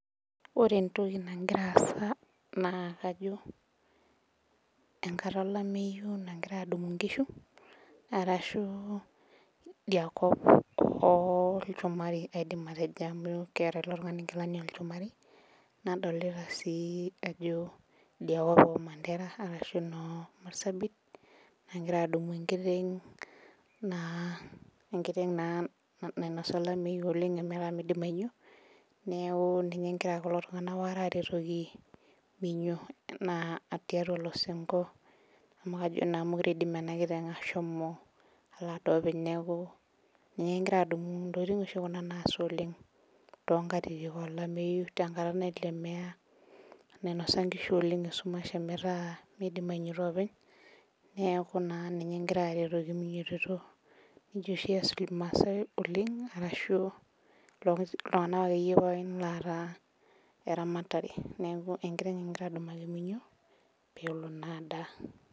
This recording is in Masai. Ore entoki nagira aasa naa kejo enkata olameyu nagirae adumu nkishu ashu India kop olchumari aidim atejo amu keeta ele tungani nkilani olchumari, nadolita naa ajo idia kop oomandera ashu nomarsabit nagira adumu enkiteng naa nainosa olameyu oleng emetaa meidim ainyo, neeku ninye egira kulo tunganak waare aretokinaa tiatua olosinko amu kajo naa meidim enakiteng ashomo alo adaare openy neeku kegirae adumu. Ntokiting oshi kuna naasa oleng tenkata olameyu, tenkata nainosa nkishu esumash ometaa ometaa meidim ainyito oopeny, neeku naa ninye egirae aretoki minyotito. Nejia oshi ees irmaasai oleng ashu kulo tunganak akeyie loota eramatare .Neeku enkiteng egirae adumu meinyo pee elo naa adaa.